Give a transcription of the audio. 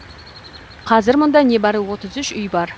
қазір мұнда небәрі отыз үш үй бар